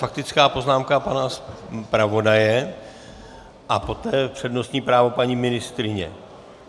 Faktická poznámka pana zpravodaje a poté přednostní právo paní ministryně.